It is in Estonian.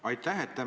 Aitäh!